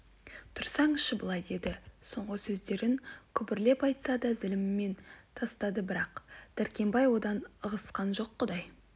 тұрсаңшы былай деді соңғы сөздерін күбрлеп айтса да зілмен тастады бірақ дәркембай одан ығысқан жоқ құдай